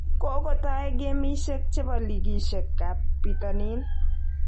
Kogotai gemishek chebo ligiishek ab bitonin